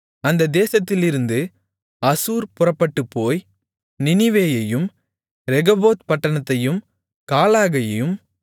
அந்தத் தேசத்திலிருந்து அசூர் புறப்பட்டுப்போய் நினிவேயையும் ரெகொபோத் பட்டணத்தையும் காலாகையும்